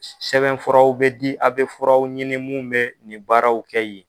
Sɛbɛn furaw bɛ di a' bɛ furaw ɲini mun bɛ nin baaraw kɛ ye.